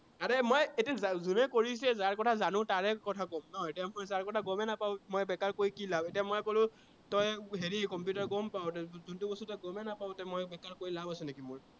আৰে মই এতিয়া যোনে কৰিছে, যাৰ কথা জানো তাৰে কথা কম ন, এতিয়া তাৰ কথা গমে নাপাও, ত মই বেকাৰ কৈ কি লাভ। এতিয়া কলো তই হেৰি কম্পিউটাৰ গম পাৱ, তই যোনটো বস্তু তই গমেই নাপাৱ এতিয়া মই বেকাৰ কৈ লাভ আছে নেকি মোৰ